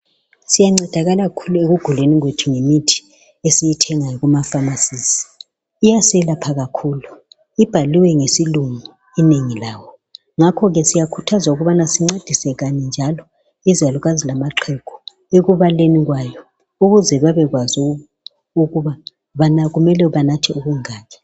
Siyancedakala kakhulu ekuguleni kwethu ngemithi esiyithenga kumafamasizi. Iyaselapha kakhulu, ibhaliwe ngesilungu ngakho siyakhuthazwa njalo ukuba sincedise izalukazi lamaxhegu ekubaleni kwayo ukuze bebe kwazi ukuba kumele banathe okungaki.